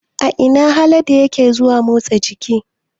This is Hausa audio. A ina Haladu yake zuwa motsa jiki?